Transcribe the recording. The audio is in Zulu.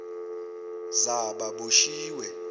zababoshiwe